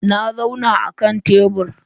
Na zauna a kan tebur.